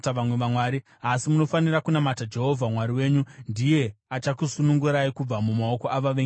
Asi munofanira kunamata Jehovha Mwari wenyu; ndiye achakusunungurai kubva mumaoko avavengi venyu vose.”